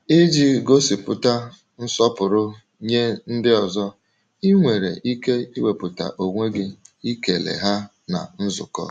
um Iji gosipụta um nsọpụrụ nye ndị ọzọ, ị nwere ike iwepụta onwe gị ịkele ha na nzukọ.